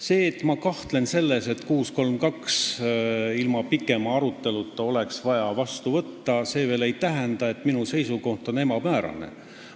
See, et ma kahtlen selles, et eelnõu 632 oleks ilma pikema aruteluta vaja vastu võtta, ei tähenda, et minu seisukoht on ebamäärane.